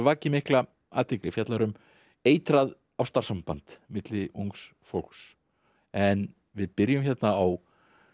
vakið mikla athygli fjallar um eitrað ástarsamband milli ungs fólks en við byrjum hérna á